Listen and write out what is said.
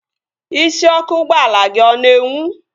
Isiọkụ ụgbọala gị ọ na-enwu?